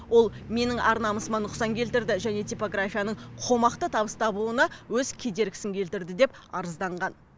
ол менің ар намысыма нұқсан келтірді және типографияның қомақты табыс табуына өз кедергісін келтірді деп арызданған